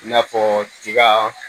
I n'a fɔ tiga